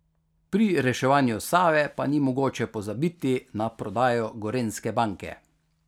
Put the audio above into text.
Pri reševanju Save pa ni mogoče pozabiti na prodajo Gorenjske banke.